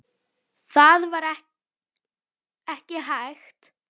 Það var ekki hægt.